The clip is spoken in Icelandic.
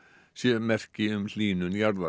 sé merki um hlýnun jarðar